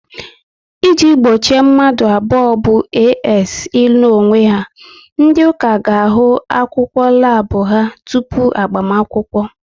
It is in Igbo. I ji gbochi mmadụ abụọ bụ "AS" ịnụ onwe ha, ndị ụka ga ahụ akwụkwọ labu ha tupu agbamakwụkwọ